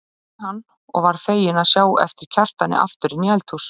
sagði hann og varð feginn að sjá á eftir Kjartani aftur inn í eldhús.